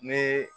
Ni